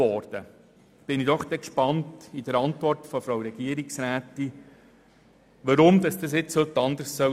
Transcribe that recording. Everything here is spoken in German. Nun bin ich gespannt, der Antwort von Regierungsrätin Egger zu entnehmen, weshalb es heute anders sein soll.